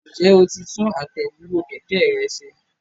Ǹjẹ́ o ti tún àtẹ̀dúró kẹ̀kẹ́ rẹ ṣe?